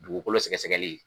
Dugukolo sɛgɛsɛgɛli